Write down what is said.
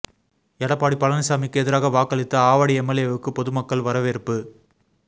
எடப்பாடி பழனிசாமிக்கு எதிராக வாக்களித்த ஆவடி எம்எல்ஏவுக்கு பொதுமக்கள் வரவேற்பு